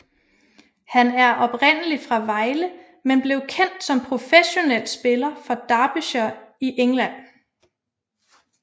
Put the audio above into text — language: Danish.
Han er oprindelig fra Vejle men blev kendt som professionel spiller for Derbyshire i England